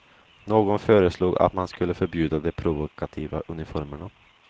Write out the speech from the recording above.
Någon föreslog att man skulle förbjuda de provokativa uniformerna.